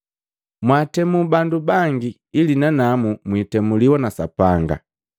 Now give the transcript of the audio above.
“Mwaatemu bandu bangi, ili nanamu mwiitemuliwa na Sapanga,